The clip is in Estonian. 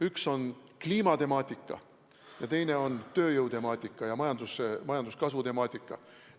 Üks on kliimatemaatika ja teine on tööjõu temaatika, ka majanduskasvu temaatika.